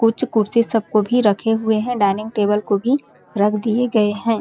कुछ कुर्सी सब को भी रखे हुए है डाइनिंग टेबल को भी रख दिए गए है।